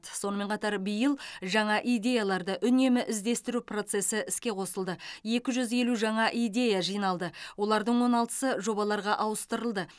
сонымен қатар биыл жаңа идеяларды үнемі іздестіру процесі іске қосылды екі жүз елу жаңа идея жиналды олардың он алтысы жобаларға ауыстырылды